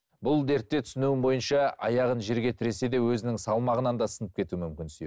бұл дертте түсінігім бойынша аяғын жерге тіресе де өзінің салмағынан да сынып кетуі мүмкін сүйек